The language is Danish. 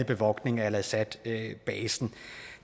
bevogtning af al asad basen og